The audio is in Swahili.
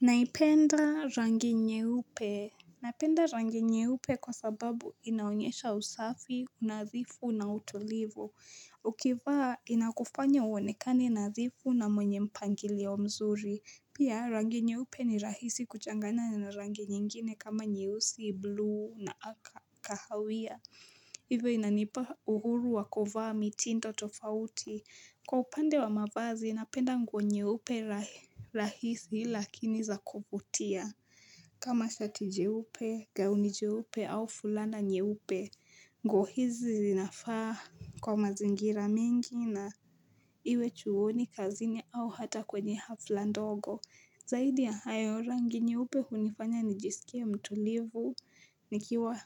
Naipenda rangi nyeupe Napenda rangi nyeupe kwa sababu inaonyesha usafi, unadhifu na utulivu Ukivaa inakufanya uonekane nadhifu na mwenye mpangilio mzuri Pia rangi nyeupe ni rahisi kuchangana na rangi nyingine kama nyeusi bluu na kahawia hivi inanipa uhuru wa kuvaa mitindo tofauti Kwa upande wa mavazi, napenda nguo nyeupe rahisi lakini za kuvutia. Kama shati jeupe, gauni jeupe au fulana nyeupe, nguo hizi zinafaa kwa mazingira mingi na iwe chuoni kazini au hata kwenye hafla ndogo. Zaidi ya hayo rangi nyeupe hunifanya nijisikia mtulivu, nikiwa